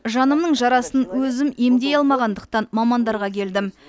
жанымның жарасын өзім емдей алмағандықтан мамандардарға келдім